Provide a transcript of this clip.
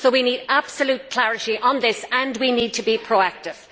So we need absolute clarity on this and we need to be proactive.